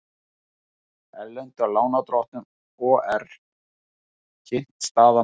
Erlendum lánardrottnum OR kynnt staða mála